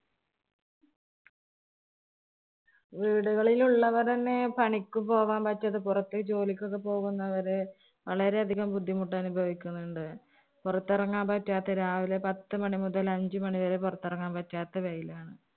വീടുകളിൽ ഉള്ളവർ തന്നെ പണിക്ക് പോകാൻ പറ്റാതെ പുറത്ത് ജോലിക്കൊക്കെ പോകുന്നവര് വളരെ അധികം ബുദ്ധിമുട്ടനുഭവിക്കന്നുണ്ട്. പുറത്തിറങ്ങാൻ പറ്റാത്ത രാവിലെ പത്ത് മണി മുതൽ അഞ്ചു മണി വരെ പുറത്തിറങ്ങാന്‍ പറ്റാത്ത വെയിലാണ്.